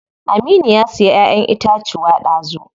Aminu ya siya ƴaƴen itacuwa dazu.